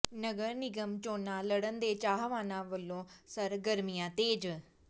ਨਗਰ ਨਿਗਮ ਚੋਣਾਂ ਲੜਣ ਦੇ ਚਾਹਵਾਨਾਂ ਵੱਲੋਂ ਸਰਗਰਮੀਆਂ ਤੇਜ਼